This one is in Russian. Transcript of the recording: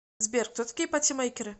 сбер кто такие патимейкеры